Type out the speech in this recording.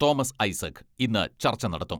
Thomas Isaac ഇന്ന് ചർച്ച നടത്തും.